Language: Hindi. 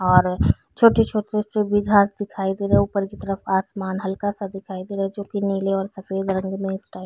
और छोटी-छोटी सी भी घास दिखाई दे रहे ऊपर की तरफ आसमान हल्का सा दिखाई दे रहा जो की नीले और सफ़ेद रंग में इस टाइप --